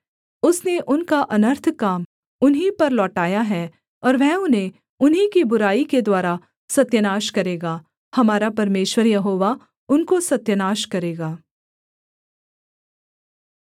उसने उनका अनर्थ काम उन्हीं पर लौटाया है और वह उन्हें उन्हीं की बुराई के द्वारा सत्यानाश करेगा हमारा परमेश्वर यहोवा उनको सत्यानाश करेगा